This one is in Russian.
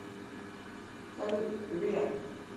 салют ви а